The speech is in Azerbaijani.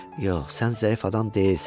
Yox, sən zəif adam deyilsən.